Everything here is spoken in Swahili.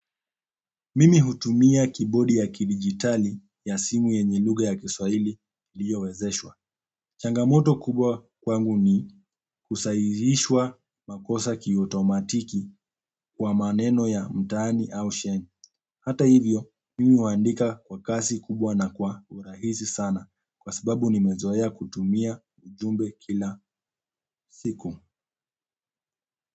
Mimi hutumia kibodi ya kidijitali ya simu yenye lugha ya Kiswahili iliyowezeshwa changamoto kubwa kwangu ni kusahihishwa makosa kiautomatiki kwa maneno ya mtaani au sheng. Hata hivyo, mimi huandika kwa kasi kubwa na kwa urahisi sana kwa sababu nimezoea kutumia ujumbe kila siku.